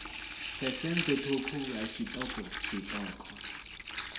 phesenthe ṱhukhu ya tshiṱoko tshiṱoko